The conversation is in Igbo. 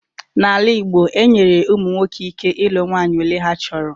N'ala igbo, e nyere ụmụ nwoke ike ilu nwanyị ole ha chọrọ